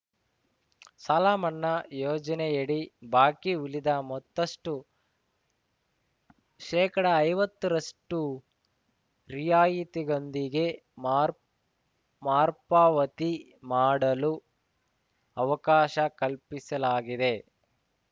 ಸಾಲಮನ್ನಾ ಯೋಜನೆಯಡಿ ಬಾಕಿ ಉಳಿದ ಮೊತ್ತಷ್ಟು ಶೇಕಡಐವತ್ತರಷ್ಟುರಿಯಾಯಿತಿಯೊಂದಿಗೆ ಮಾರ್ ಮಾರ್ಪಾವತಿ ಮಾಡಲು ಅವಕಾಶ ಕಲ್ಪಿಸಲಾಗಿದೆ